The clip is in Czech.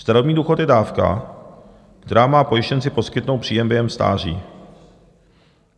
Starobní důchod je dávka, která má pojištěnci poskytnout příjem během stáří.